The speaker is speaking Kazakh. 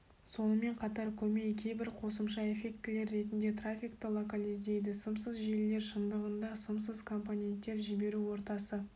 сонымен қатар көмей кейбір қосымша эффектілер ретінде трафикті локализдейді сымсыз желілер шындығында сымсыз компоненттер жіберу ортасы